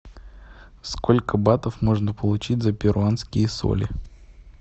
сколько батов можно получить за перуанские соли